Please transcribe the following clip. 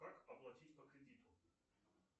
как оплатить по кредиту